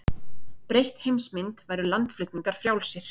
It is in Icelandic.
Breytt heimsmynd væru landflutningar frjálsir